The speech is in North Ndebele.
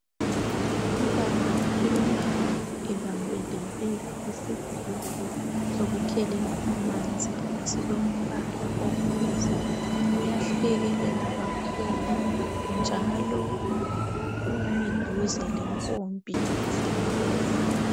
Ubaba umi ebambelele isigubhu sokukhelela amanzi esilombala obuzi. Uyahlekelela kakhulu njalo umi duze lempompi zamanzi.